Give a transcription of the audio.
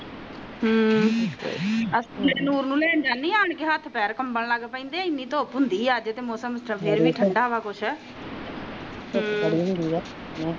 ਹਮ ਨੂਰ ਨੂੰ ਲੈਣ ਜਾਣੀ ਆ ਆਕੇ ਹੱਥ ਪਾਰ ਕੰਬਣ ਲੱਗ ਪਾੜੇ ਨੇ ਏਨੀ ਤੁਪ ਹੁੰਦੀ ਆ ਅੱਜ ਤਾ ਮੌਸਮ ਫਰ ਵੀ ਟਾਡਾ ਵ ਕੁਛ